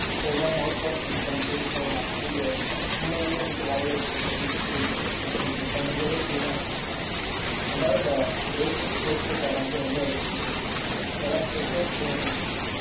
So, இத mouthwash இது பண்ணிட்டு, so, three மூணு வேளை வந்துட்டு, வாயை வந்து கொப்பளிச்சிட்டு, so, கொஞ்சம், இப்ப முடிஞ்ச அளவுக்கு, clean ஆ வச்சிருக்கேன் ரெண்டாவது இந்த braces போட்டிருக்கிற இடம் வந்து ரொம்ப வலிக்குது. so checkup போனும்.